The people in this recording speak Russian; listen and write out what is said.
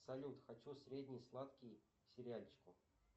салют хочу средний сладкий к сериальчику